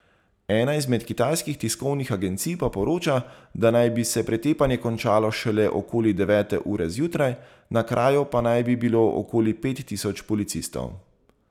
Ena izmed kitajskih tiskovnih agencij pa poroča, da naj bi se pretepanje končalo šele okoli devete ure zjutraj, na kraju pa naj bi bilo okoli pet tisoč policistov.